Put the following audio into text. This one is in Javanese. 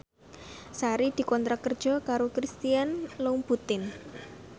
Sari dikontrak kerja karo Christian Louboutin